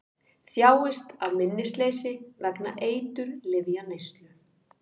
Þjáist af minnisleysi vegna eiturlyfjaneyslu